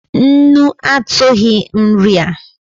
Nnu atughi nri a